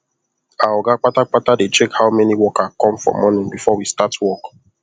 our oga kpata kpata dey check how many worker come for morning before we start work